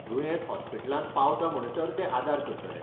दुयेंत हॉस्पिटलांत पावता म्हणसर ते आदार करतले.